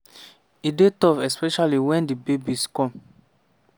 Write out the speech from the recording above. "e dey tough especially wen di babies come.